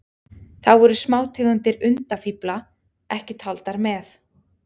Þá eru smátegundir undafífla ekki taldar með.